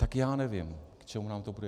Tak já nevím, k čemu nám to bude.